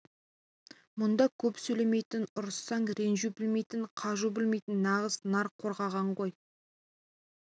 мұнда көп сөйлемейтін ұрыссаң ренжу білмейтін қажу білмейтін нағыз нар қорған ғой